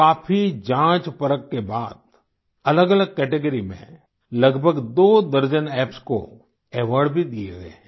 काफी जाँचपरख के बाद अलगअलग कैटेगरी में लगभग दो दर्जन एप्स को अवार्ड भी दिए गये हैं